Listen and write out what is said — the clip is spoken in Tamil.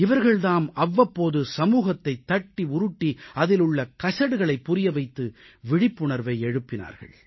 இவர்கள் தாம் அவ்வப்போது சமூகத்தைத் தட்டி உருட்டி அதில் உள்ள கசடுகளைப் புரிய வைத்து விழிப்புணர்வை எழுப்பினார்கள்